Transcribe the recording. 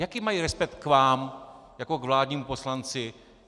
Jaký mají respekt k vám jako k vládnímu poslanci?